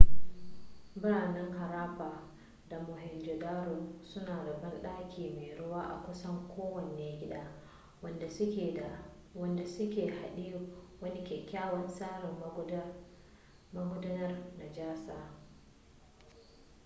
biranen harappa da mohenjo-daro suna da banɗaki mai ruwa a kusan kowane gida wanda su ke haɗe wani kyakkyawa tsarin magudanar najasa